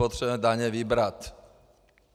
Potřebujeme daně vybrat.